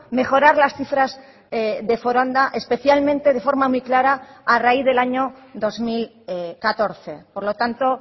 mejorar las cifras de foronda especialmente de forma muy clara a raíz del año dos mil catorce por lo tanto